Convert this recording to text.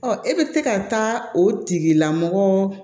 Ɔ e bɛ se ka taa o tigilamɔgɔ